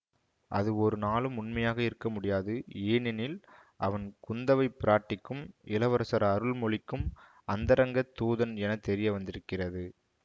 அது ஒரு நாளும் உண்மையாக இருக்க முடியாது ஏனெனில் அவன் குந்தவை பிராட்டிக்கும் இளவரசர் அருள்மொழிக்கும் அந்தரங்கத் தூதன் என தெரிய வந்திருக்கிறது